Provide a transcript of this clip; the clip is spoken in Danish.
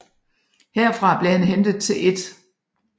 Herfra blev han hentet til 1